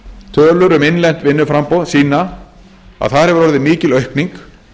tölur um innlent vinnuframboð sýna að þar hefur orðið mikil aukning